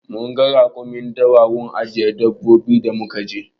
Munga rakumin dawa a gun ajiye dabbobi da muka je